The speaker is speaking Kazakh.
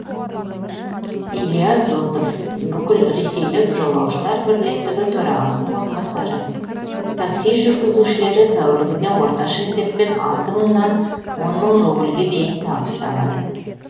илья зотов бүкілресейлік жолаушылар бірлестігі төрағасының орынбасары такси жүргізушілері тәулігіне орташа есеппен алты мыңнан он мың рубльге дейін табыс табады